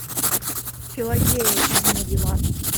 пелагея и дима билан